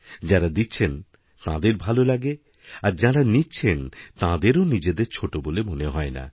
যাঁরা দিচ্ছেন তাঁদের ভালো লাগে আর যাঁরানিচ্ছেন তাঁদেরও নিজেদের ছোটো বলে মনে হয় না